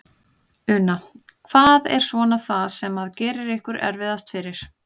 Una: Hvað er svona það sem að gerir ykkur erfiðast fyrir?